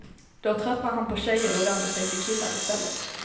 Då tröttnar han på tjejer och vänder sig till killar i stället.